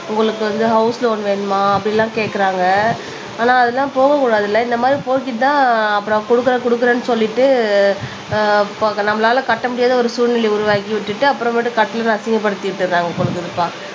உங்களுக்கு வந்து house loan வேணுமா அப்படி எல்லாம் கேக்குறாங்க ஆனா அதெல்லாம் போகக் கூடாது இல்லை இந்த மாதிரி போக்கிட்டுதான் அப்புறம் கொடுக்குறேன் கொடுக்குறேன்னு சொல்லிட்டு ஆஹ் நம்மளால கட்ட முடியாத ஒரு சூழ்நிலை உருவாக்கி விட்டுட்டு அப்புறமேட்டு கட்டினதை அசிங்கப்படுத்திட்டு இருக்காங்க போல இருக்குதுப்பா